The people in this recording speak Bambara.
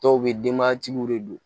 Dɔw bɛ denbayatigiw de don